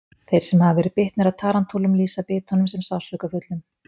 Þeir sem hafa verið bitnir af tarantúlum lýsa bitunum sem sársaukafullum.